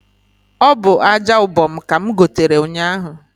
Ọ bụ aja ubom ka m gotere ụnyahu